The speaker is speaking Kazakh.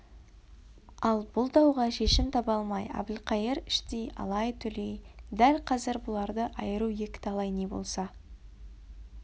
ал бұл дауға шешім таба алмай әбілқайыр іштей алай-түлей дәл қазір бұларды айыру екіталай не болса